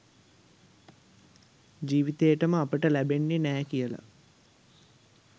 ජීවි‌තේටම අපිට ලැ‌බෙන්‌නේ නෑ කියලා